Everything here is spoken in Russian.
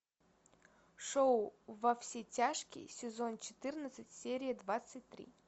шоу во все тяжкие сезон четырнадцать серия двадцать три